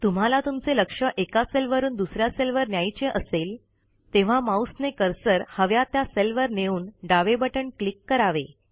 तुम्हाला तुमचे लक्ष एका सेलवरून दुस या सेलवर न्यायचे असेल तेव्हां माउसने कर्सर हव्या त्या सेलवर नेऊन डावे बटण क्लिक करावे